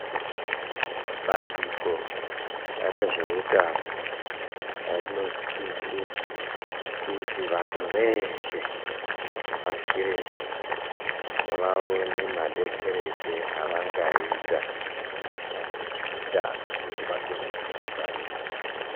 Bandiko rezvehutano rinosisa kuti vantu veshe pashi reshe vaone madetsereke avangaita pane zvehutano kuti vakone kuzvingwarira.